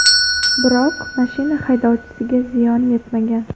Biroq mashina haydovchisiga ziyon yetmagan.